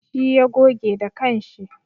Shi ya goge da kanshi.